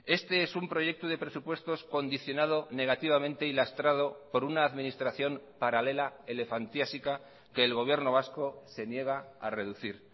este es un proyecto de presupuestos condicionado negativamente y lastrado por una administración paralela elefantiásica que el gobierno vasco se niega a reducir